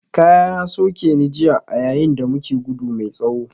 Ƙaya ya soke ni jiya a yayin da muke gudu mai tsawo